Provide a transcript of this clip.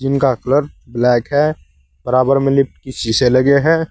इनका colour black है बराबर में लिफ्ट के शीशे लगे हैं।